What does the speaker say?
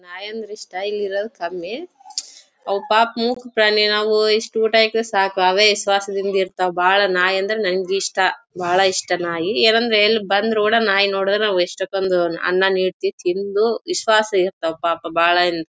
ನಾಯಿಂದ್ರು style ಇರೋದು ಕಮ್ಮಿ ಅವು ಪಾಪ ಮುಖ ಪ್ರಾಣಿ ನಾವು ಇಷ್ಟು ಊಟ ಹಾಕಿರು ಸಾಕು ಅವೇ ವಿಶ್ವಾಸದಿಂದ ಇರತ್ವ್ ಬಹಳ್ ನಾಯಿ ಅಂದ್ರೆ ನಂಗೆ ಇಷ್ಟಬಹಳ ಇಷ್ಟ ನಾಯಿ ಏನು ಅಂದ್ರೆ ಎಲ್ಲಿ ಬಂದ್ ರೋಡ್ ನಾಯಿ ನೋಡಿದ್ರೆ ನಾವ್ ಎಷ್ಟ ಕೊಂದು ಅನ್ನ ನೀರು ತಿಂದು ವಿಶ್ವಾಸ ಇರತ್ವ್ ಪಾಪ ಬಹಳ --